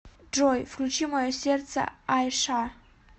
джой включи мое сердце айша